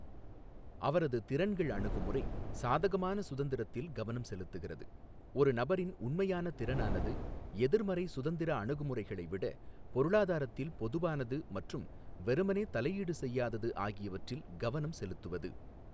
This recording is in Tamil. அவரது திறன்கள் அணுகுமுறை, சாதகமான சுதந்திரத்தில் கவனம் செலுத்துகிறது, ஒரு நபரின் உண்மையான திறனானது எதிர்மறை சுதந்திர அணுகுமுறைகளை விட, பொருளாதாரத்தில் பொதுவானது மற்றும் வெறுமனே தலையீடு செய்யாதது ஆகியவற்றில் கவனம் செலுத்துவது.